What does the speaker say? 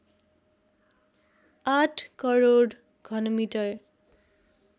८ crore घनमिटर